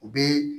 U bɛ